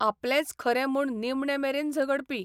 आपलेंच खरें म्हूण निमणेमेरेन झगडपी.